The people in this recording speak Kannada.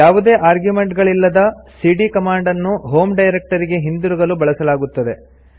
ಯಾವುದೇ ಆರ್ಗ್ಯುಮೆಂಟ್ ಗಳಿಲ್ಲದ ಸಿಡಿಯ ಕಮಾಂಡ್ ಅನ್ನು ಹೋಮ್ ಡೈರೆಕ್ಟರಿಗೆ ಹಿಂದಿರುಗಲು ಬಳಸಲಾಗುತ್ತದೆ